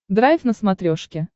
драйв на смотрешке